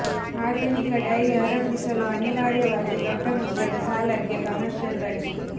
ಆಧುನಿಕ ಡೈರಿ ಆರಂಭಿಸಲು ಅನಿವಾರ್ಯವಾಗಿ ದೊಡ್ಡ ಮೊತ್ತದ ಸಾಲಕ್ಕೆ ಕಮರ್ಷಿಯಲ್ ಬಡ್ಡಿ